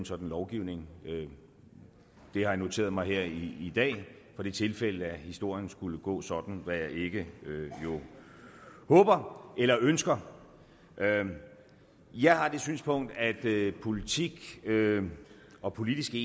sådan lovgivning det har jeg noteret mig her i dag for det tilfælde at historien skulle gå sådan hvad jeg jo ikke håber eller ønsker jeg har det synspunkt at politik og politiske